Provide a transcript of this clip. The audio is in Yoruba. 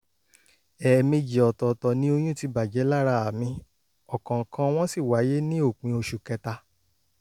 ẹ̀ẹ̀mejì ọ̀tọ̀ọ̀tọ̀ ni oyún ti bàjẹ́ lára mi ọ̀kọ̀ọ̀kan wọn sì wáyé ní òpin oṣù kẹta